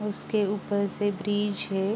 और उसके ऊपर से ब्रिज है।